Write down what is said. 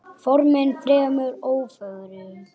Formin fremur ófögur.